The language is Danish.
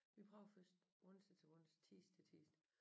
Vi prøvede først onsdag til onsdag tirsdag til tirsdag